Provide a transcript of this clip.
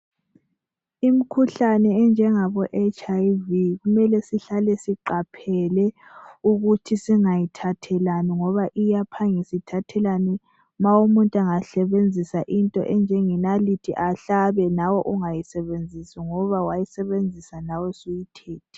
Imikhuhlane enjengabo HIV kumele sihlale siqaphele ukuthi singayithathelani ngoba iyaphangisa ithathelwana nxa umuntu engasebenzisa into enjenge nalithi ahlabe lawe ngayisebenzisi ngoba uphinde ungayisebenzisa lawe usuyi thethe.